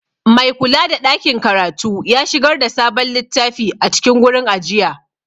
Maikulada ɗakin karatu ya shigar da sabon littafi a cikin gurin ajiya.